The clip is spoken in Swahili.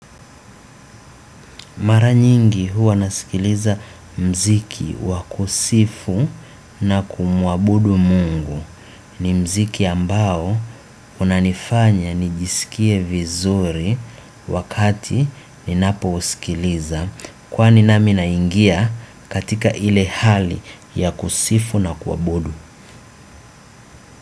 Mara nyingi huwa nasikiliza mziki wa kusifu na kumwabudu mungu ni mziki ambao unanifanya nijiskie vizuri wakati ninapo usikiliza kwani nami na ingia katika ile hali ya kusifu na kuabudu.